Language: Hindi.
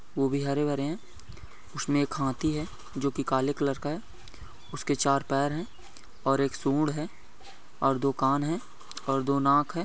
वो भी हरे भरे है उसमे एक हाथी है जो की काले कलर का है उसके चार पैर है और एक सूढ़ है और दो कान है और दो नाक है।